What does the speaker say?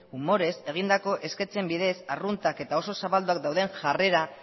umorez egindako sketchen bidez arruntak eta osa zabaldua dauden jarrera